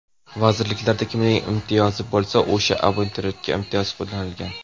Vazirliklarda kimning imtiyozi bo‘lsa, o‘sha abituriyentga imtiyoz qo‘llanilgan.